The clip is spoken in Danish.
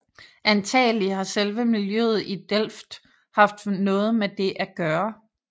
Antagelig har selve miljøet i Delft haft noget med det at gøre